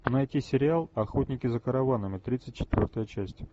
найти сериал охотники за караванами тридцать четвертая часть